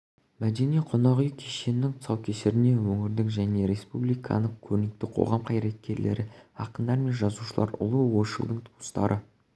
мәдени-қонақ үй кешенінің тұсаукесеріне өңірдің және республиканың көрнекті қоғам қайраткерлері ақындар мен жазушылар ұлы ойшылдың туыстары